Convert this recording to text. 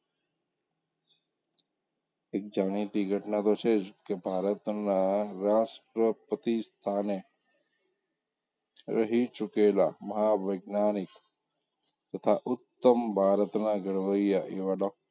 એક જાણીતી ઘટના તો જ છે કે ભારતનાં રાષ્ટ્રપતિ સ્થાને રહી ચૂકેલાં મહાવૈજ્ઞાનિક તથાં ઉત્તમ ભારતનાં ઘડવૈયા એવાં,